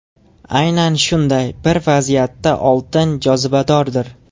Aynan shunday bir vaziyatda oltin jozibadordir.